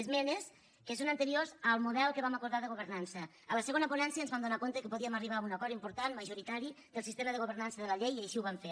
esmenes que són anteriors al model que vam acordar de governança a la segona ponència ens vam adonar que podíem arribar a un acord important majoritari del sistema de governança de la llei i així ho vam fer